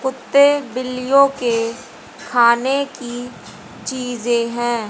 कुत्ते बिल्लियों के खाने की चीजें हैं।